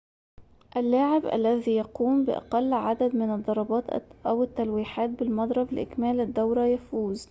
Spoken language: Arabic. اللاعب الذي يقوم بأقل عدد من الضربات أو التلويحات بالمضرب لإكمال الدورة يفوز